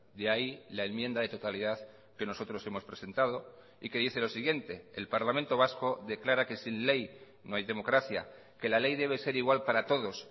de ahí la enmienda de totalidad que nosotros hemos presentado y que dice lo siguiente el parlamento vasco declara que sin ley no hay democracia que la ley debe ser igual para todos